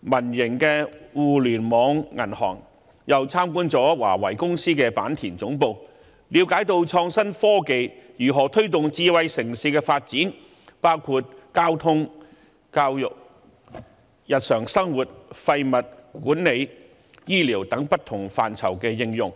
民營互聯網銀行，也參觀了華為技術有限公司的坂田總部，了解到創新科技如何推動智慧城市的發展，包括交通、教育、日常生活廢物管理、醫療等不同範疇的應用。